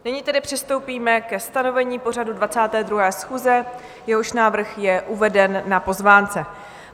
Nyní tedy přistoupíme ke stanovení pořadu 22. schůze, jehož návrh je uveden na pozvánce.